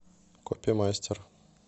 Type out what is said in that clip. копимастер